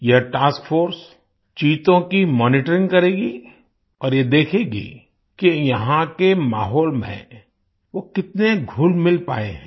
यह task force चीतों की मॉनिटरिंग करेगी और ये देखेगी कि यहाँ के माहौल में वो कितने घुलमिल पाए हैं